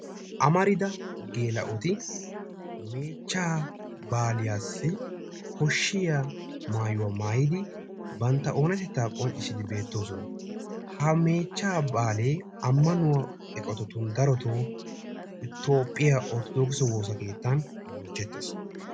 amarida gela''oti meechcha baaliyaassi koshsiya maayuwa maayyid bantta oonatetta qonccisside beettoosona. ha meechcha baale ammanuwa eqqotatun daroto toophiyaa orttodokisse wossa keettan bonchchettees.